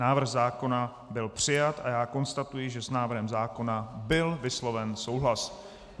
Návrh zákona byl přijat a já konstatuji, že s návrhem zákona byl vysloven souhlas.